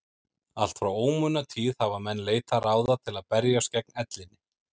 Allt frá ómunatíð hafa menn leitað ráða til að berjast gegn ellinni.